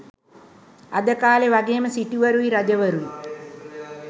අද කාළේ වගෙම සිටුවරුයි රජවරුයි